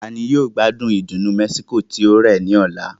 Ta ni yóò gbádùn ìdùnnú Mexico tí ó rẹ̀ ní ọ̀la?